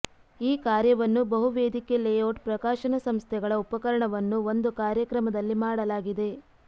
ಈ ಕಾರ್ಯವನ್ನು ಬಹು ವೇದಿಕೆ ಲೇಔಟ್ ಪ್ರಕಾಶನ ಸಂಸ್ಥೆಗಳ ಉಪಕರಣವನ್ನು ಒಂದು ಕಾರ್ಯಕ್ರಮದಲ್ಲಿ ಮಾಡಲಾಗಿದೆ